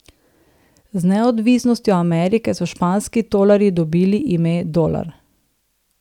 Z neodvisnostjo Amerike so španski tolarji dobili ime dolar.